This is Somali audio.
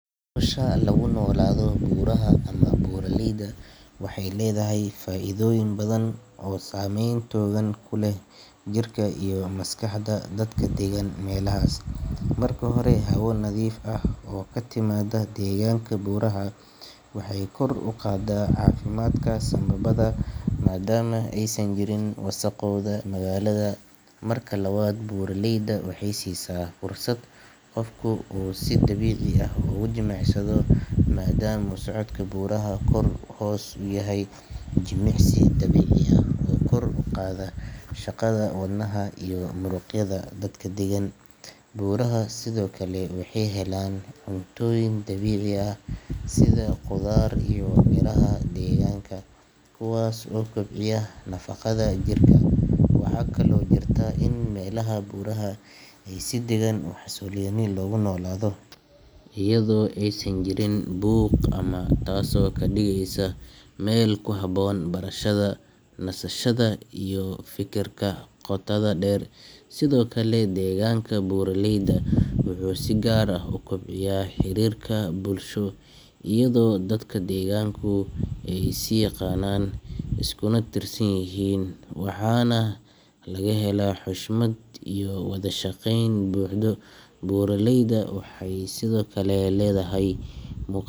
nolasha lagu noolaado buuraha ama buraleyda waxay leedahay faa'iidooyin badan oo saameyn togan ku leh jirka iyo maskaxda dadka deggan meelahaas marka hore hawo nadiif ah oo ka timaadda deegaanka buuraha waxay kor u qaadaa caafimaadka sambabbada maadaama aysan jirin wasakhowga magaalada marka labaad buraleyda waxay siisaa fursad qofku uu si dabiici ah ugu jimicsado maadaama socodka buuraha kor iyo hoos uu yahay jimicsi dabiici ah oo kor u qaada shaqada wadnaha iyo muruqyada dadka deggan buuraha sidoo kale waxay helaan cuntooyin dabiici ah sida khudaar iyo miraha deegaanka kuwaas oo kobciya nafaqada jirka waxaa kaloo jirta in meelaha buuraha ah ay si deggan oo xasilloon loogu noolaado iyadoo aysan jirin buuq badan taasoo ka dhigaysa meel ku habboon barashada, nasashada iyo fekerka qotada dheer sidoo kale deegaanka buraleyda wuxuu si gaar ah u kobciyaa xiriirka bulsho iyadoo dadka deegaanku ay is yaqaanaan iskuna tiirsan yihiin waxaana laga helaa xushmad iyo wada shaqayn buuxda buraleyda waxay sidoo kale leedahay mu.